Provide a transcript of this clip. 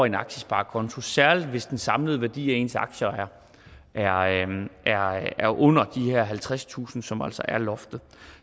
en aktiesparekonto særlig hvis den samlede værdi af ens aktier er under de her halvtredstusind kr som altså er loftet